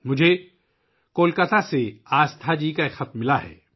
مجھے کولکاتہ سے آستھا جی کا خط ملا ہے